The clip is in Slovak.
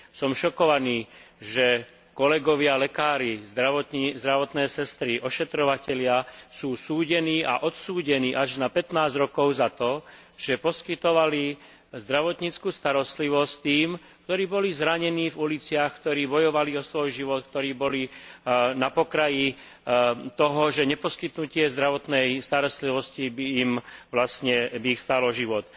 Som šokovaný, že kolegovia lekári, zdravotné sestry, ošetrovatelia sú súdení a odsúdení až na 15 rokov za to, že poskytovali zdravotnícku starostlivosť tým, ktorí boli zranení v uliciach, ktorí bojovali o svoj život, ktorí boli na pokraji toho, že neposkytnutie zdravotnej starostlivosti by ich vlastne stálo život.